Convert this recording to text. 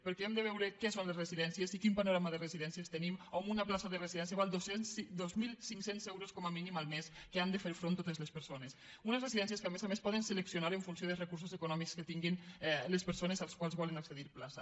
perquè hem de veure què són les residències i quin panorama de residències tenim amb una plaça de residència que val dos mil cinc cents euros com a mínim el mes a què han de fer front totes les persones unes residències que a més a més poden seleccionar en funció dels recursos econòmics que tinguin les persones que volen accedir a una plaça